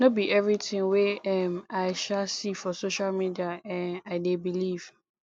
no be everytin wey um i um see for social media um i dey believe